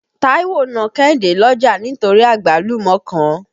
Táíwò na Kẹ́hìndé lọ́jà nítorí àgbálùmọ́ kan.